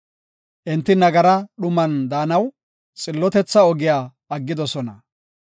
Enti nagara dhuman daanaw, xillotetha ogiya aggidosona.